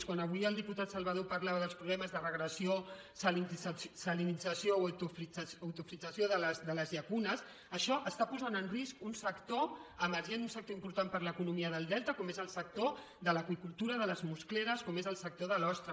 quan avui el diputat salvadó parlava dels problemes de regressió salinització o eutrofització de les llacunes això posa en risc un sector emergent un sector important per a l’economia del delta com és el sector de l’aqüicultura de les muscleres com és el sector de l’ostra